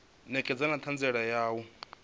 ṋekedza na ṱhanziela ya u